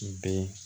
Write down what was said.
Bɛn